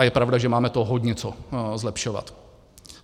A je pravda, že máme toho hodně co zlepšovat.